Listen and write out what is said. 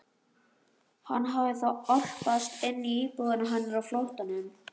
Hann hafði þá álpast inn í íbúðina hennar á flóttanum!